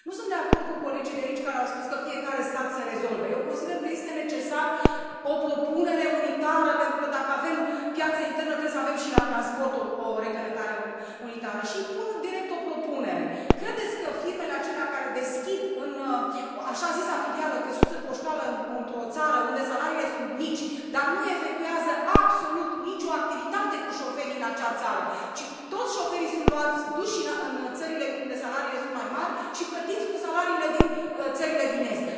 Nu sunt de acord cu colegii de aici care au spus că fiecare stat să rezolve, eu consider că este necesară o propunere unitară pentru că dacă avem piață internă trebuie să avem și la transport o reglementare unitară și pun direct o propunere credeți că firmele acelea care deschid așa zisa filială, căsuță poștală, într o țară unde salariile sunt mici dar nu efectuează absolut nicio activitate cu șoferii în acea țară ci toți șoferii sunt luați și duși în țările unde salariile sunt mai mari și plătiți cu salariile din țările din est.